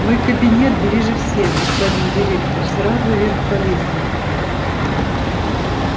мой кабинет ближе всех господин директор сразу вверх по лестнице